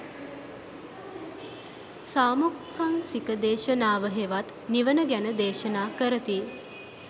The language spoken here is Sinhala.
සාමුක්ඛංසික දේශනාව හෙවත් නිවන ගැන දේශනා කරති.